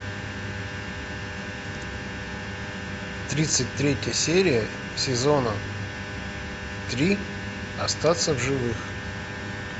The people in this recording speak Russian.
тридцать третья серия сезона три остаться в живых